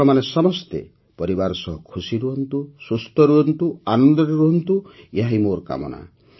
ଆପଣମାନେ ସମସ୍ତେ ପରିବାର ସହ ଖୁସି ରୁହନ୍ତୁ ସୁସ୍ଥ ରୁହନ୍ତୁ ଆନନ୍ଦରେ ରୁହନ୍ତୁ ଏହାହିଁ ମୋର କାମନା